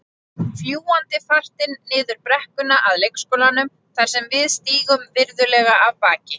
Fljúgandi fartin niður brekkuna að leikskólanum þar sem við stígum virðulega af baki.